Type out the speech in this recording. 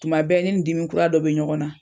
Tuma bɛɛ ne nii dimi kura dɔ bɛ ɲɔgɔn na.